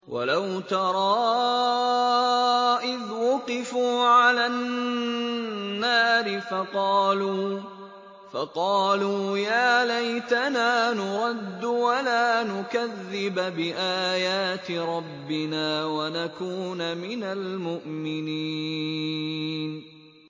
وَلَوْ تَرَىٰ إِذْ وُقِفُوا عَلَى النَّارِ فَقَالُوا يَا لَيْتَنَا نُرَدُّ وَلَا نُكَذِّبَ بِآيَاتِ رَبِّنَا وَنَكُونَ مِنَ الْمُؤْمِنِينَ